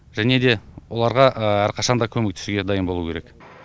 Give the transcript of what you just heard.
және де оларға әрқашан да көмектесуге дайын болу керек